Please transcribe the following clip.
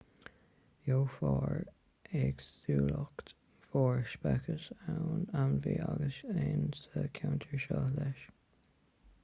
gheofar éagsúlacht mhór speiceas ainmhí agus éin sa cheantar seo leis